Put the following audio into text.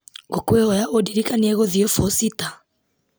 ngũkwĩhoya ũndirikanie gũthiĩ bũcita